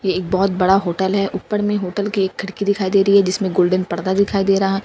ये एक बहुत बड़ा होटल है ऊपर में होटल की एक खिड़की दिखाई दे रही है जिसमें गोल्डन पर्दा दिखाई दे रहा है।